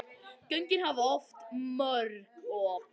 Göngin hafa oft mörg op.